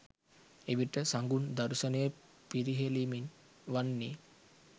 එවිට සඟුන් දර්ශනය පිරිහෙළීමෙන් වන්නේ